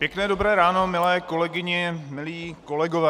Pěkné dobré ráno, milé kolegyně, milí kolegové.